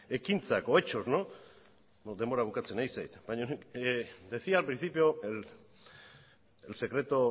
ekintzak o hechos denbora bukatzen ari zait baina decía al principio el secreto